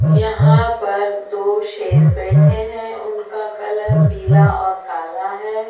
यहां पर दो शेर बैठे हैं उनका कलर पीला और कला है।